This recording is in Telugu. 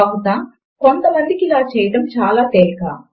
బహుశా కొంతమందికి ఇలా చేయడము చాలా తేలిక